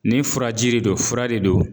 Ni furaji de don fura de don